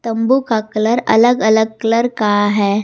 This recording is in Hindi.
तंबू का कलर अलग अलग कलर का है।